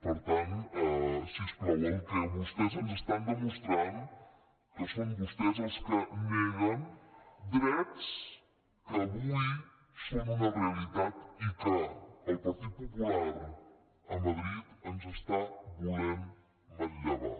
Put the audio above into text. per tant si us plau el que vostès ens estan demostrant que són vostès els que neguen drets que avui són una realitat i que el partit popular a madrid ens està volent manllevar